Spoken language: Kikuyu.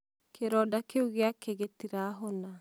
kĩronda kĩu gĩake gĩtirahona